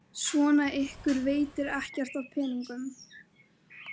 Svona, ykkur veitir ekkert af peningunum.